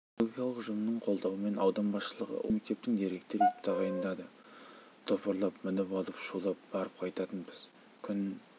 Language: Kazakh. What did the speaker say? педагогикалық ұжымның қолдауымен аудан басшылығы осы мектептің директоры етіп тағайындады топырлап мініп улап-шулап барып қайтатынбыз күн